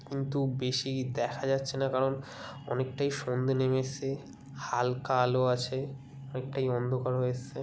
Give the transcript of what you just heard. কিন্তু বেশি দেখা যাচ্ছে না কারণ অনেকটাই সন্ধ্যে নেমে এসেছে হালকা আলো আছে অনেকটাই অন্ধকার হয়ে এসেছে।